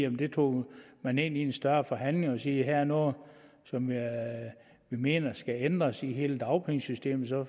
at det tog man ind i en større forhandling man sige her er noget som vi mener skal ændres i hele dagpengesystemet så